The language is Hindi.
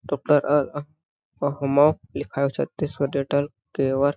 अहो मो लिखाया छत्तीसगढ़ डेटल के वर--